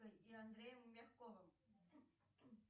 и андреем мягковым